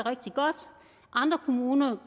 andre kommuner